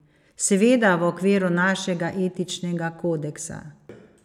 Seveda v okviru našega etičnega kodeksa.